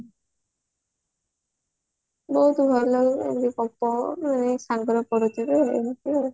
ବହୁତ ଭଲ ମାନେ ସାଙ୍ଗରେ ପଢୁଥିବେ ଏମିତି ଆଉ